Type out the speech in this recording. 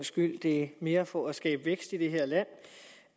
skyld det er mere for at skabe vækst i det her land